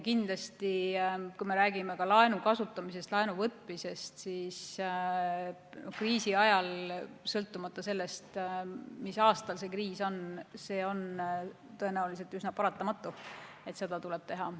Ka laenu kasutamine, laenu võtmine on kriisi ajal, sõltumata sellest, mis aastal kriis on, tõenäoliselt üsna paratamatu, seda tuleb teha.